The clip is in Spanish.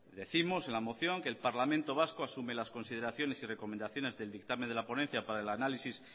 décimos en la moción que el parlamento vasco asume las consideraciones y recomendaciones del dictamen de la ponencia para el análisis